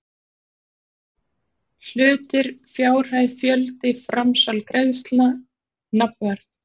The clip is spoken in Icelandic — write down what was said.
Hlutir fjárhæð fjöldi framsal greiðsla nafnverð